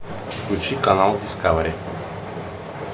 включи канал дискавери